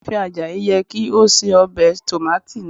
Iyaafin Ajayi yẹ ki o ṣe obe tomati naa